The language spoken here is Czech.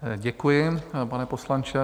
Děkuji, pane poslanče.